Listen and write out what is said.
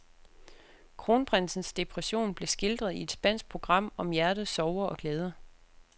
Kronprinsens depression blev skildret i et spansk program om hjertets sorger og glæder.